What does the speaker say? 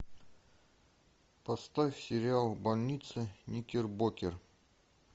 поставь сериал больница никербокер